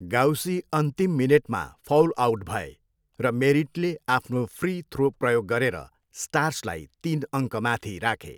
गाउसी अन्तिम मिनेटमा foul out भए, र मेरिटले आफ्नो फ्री थ्रो प्रयोग गरेर स्टार्सलाई तिन अङ्कमाथि राखे।